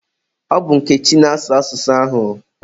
Ọ bụ Nkechi na-asụ asụsụ ahụ.